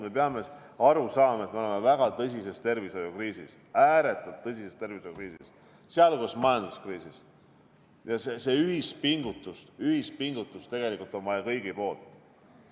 Me peame aru saama, et me oleme väga tõsises tervishoiukriisis, ääretult tõsises tervishoiukriisis, sh majanduskriisis, ja tegelikult on vaja meie kõigi ühist pingutust.